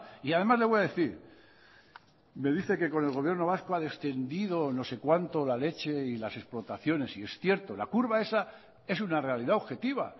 y además le voy a decir me dice que con el gobierno vasco ha descendido no sé cuánto la leche y las explotaciones y es cierto la curva esa es una realidad objetiva